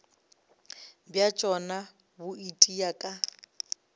bja tšona bo itia ka